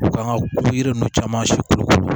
U kan ka yiri ninnu caman si kolokolo